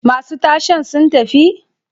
Masu tashen sun tafi?